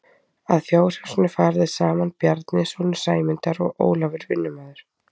Að fjárhúsinu fara þeir saman Bjarni sonur Sæmundar og Ólafur vinnumaður.